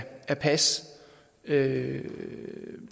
lave en